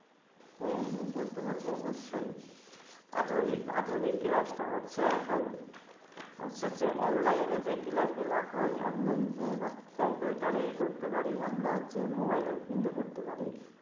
হ্যাঁ, আমি অবশ্যই বলতে পারবো। আধুনিক class হচ্ছে এখন online যে class হয়, বা যেগুলো আমরা computer রে করতে পারি। mobile ও কিন্তু করতে পারি।